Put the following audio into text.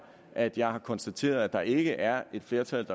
at jeg har konstateret at der ikke er et flertal